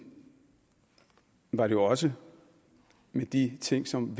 var det jo også med de ting som